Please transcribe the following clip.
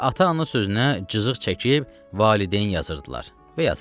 Və ata-ana sözünə cızıq çəkib valideyn yazırdılar və yazırdılar.